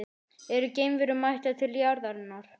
Eru geimverur mættar til jarðarinnar?